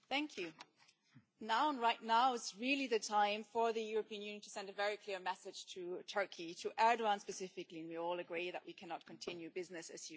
Madam President, right now is really the time for the European Union to send a very clear message to Turkey, to Erdoğan specifically, and we all agree that we cannot continue business as usual.